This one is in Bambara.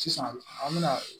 Sisan an bɛna